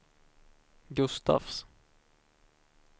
Gustafs